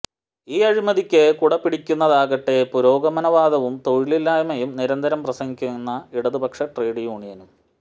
ഈ അഴിമതിക്ക് കുട പിടിക്കുന്നതാകട്ടെ പുരോഗമനവാദവും തൊഴിലില്ലായ്മയും നിരന്തരം പ്രസംഗിക്കുന്ന ഇടതുപക്ഷ ട്രേഡ് യൂണിയനും